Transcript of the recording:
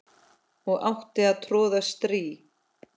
og átti að troða strý